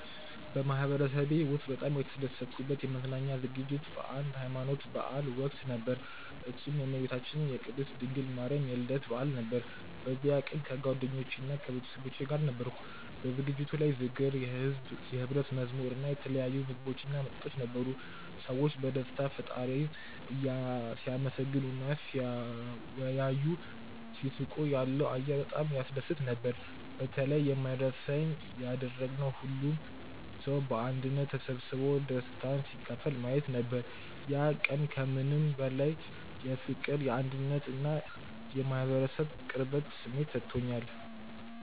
በማህበረሰቤ ውስጥ በጣም የተደሰትኩበት የመዝናኛ ዝግጅት በአንድ የሀይማኖት በዓል ወቅት ነበር፤ እሱም የእመቤታችን የቅድስት ድንግል ማርያም የልደት በዓል ነበር። በዚያ ቀን ከጓደኞቼና ከቤተሰቦቼ ጋር ነበርኩ። በዝግጅቱ ላይ ዝክር፣ የሕብረት መዝሙር እና የተለያዩ ምግቦችና መጠጦች ነበሩ። ሰዎች በደስታ ፈጣሪን ሲያመሰግኑ እና ሲወያዩ፣ ሲስቁ ያለው አየር በጣም ያስደስት ነበር። በተለይ የማይረሳኝ ያደረገው ሁሉም ሰው በአንድነት ተሰብስቦ ደስታን ሲካፈል ማየት ነበር። ያ ቀን ከምንም በላይ የፍቅር፣ የአንድነት እና የማህበረሰብ ቅርበት ስሜት ሰጥቶኛል።